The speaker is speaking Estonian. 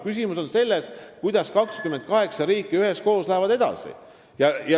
Küsimus on selles, kuidas 28 riiki üheskoos edasi lähevad.